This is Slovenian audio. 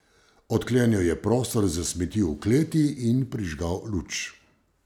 Odklenil je prostor za smeti v kleti in prižgal luč.